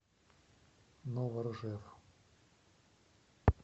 новоржев